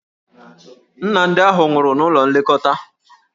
Nna ndị ahụ nwụrụ n'ụlọ nlekọta.